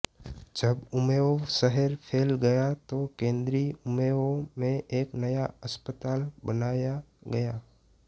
जब ऊमेओ शहर फ़ैल गया तो केंद्री ऊमेओ में एक नया अस्पताल बनाया गया